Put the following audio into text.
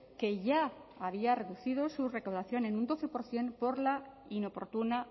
que ya había reducido su recaudación en un doce por ciento por la inoportuna